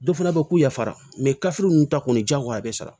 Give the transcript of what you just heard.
Dɔ fana bɛ k'u yafara ninnu ta kɔni diyagoya a bɛ sara